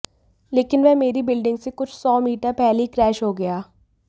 लेकिन वह मेरी बिल्डिंग से कुछ सौ मीटर पहले ही क्रैश हो गया